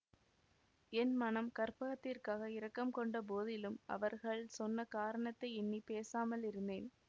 என் மனம் கற்பகத்திற்காக இரக்கம் கொண்ட போதிலும் அவர்கள் சொன்ன காரணத்தை எண்ணி பேசாமல் இருந்தேன்